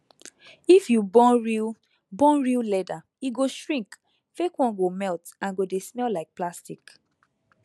if you burn real burn real leather e go shrink fake one go melt and go dey smell like plastic